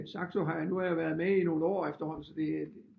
At Saxo har nu har jeg været med i nogle år efterhånden så det